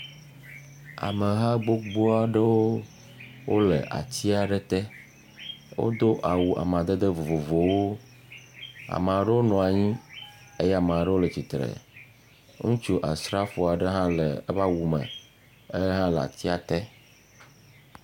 Ameha gbogboa ɖewo wole atsia ɖe te. Wodo awu amadede vovovowo. Ama ɖewo nɔa nyi eye ama ɖewo le tsitre. Ŋutsu asrafo aɖe hã le eƒe awu me. Ehã le atsia te.